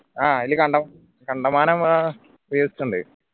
ആഹ് അയിൽ കണ്ടോ കണ്ടമാനം അഹ് viewers ഇണ്ട്